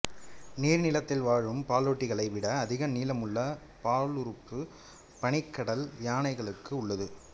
நீர் நிலத்தில் வாழும் பாலூட்டிகளை விட அதிக நீளமுள்ள பாலுறுப்பு பனிக்கடல் யானைகளுக்கு உள்ளது